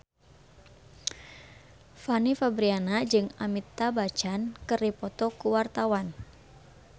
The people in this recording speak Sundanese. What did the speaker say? Fanny Fabriana jeung Amitabh Bachchan keur dipoto ku wartawan